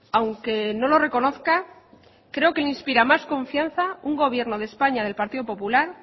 aunque no lo reconozca creo que le inspira más confianza un gobierno de españa del partido popular